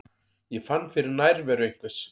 Ég fann fyrir nærveru einhvers.